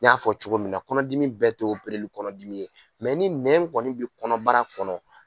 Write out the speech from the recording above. N y'a fɔ cogo min na kɔnɔdimi bɛɛ te kɔnɔdimi ye ni nɛn kɔni bi kɔnɔbara kɔnɔ